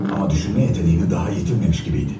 Amma düşünmə qabiliyyətini hələ itirməmiş kimi idi.